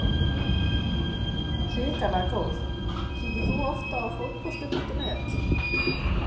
Hrikalega góð Kíkir þú oft á Fótbolti.net?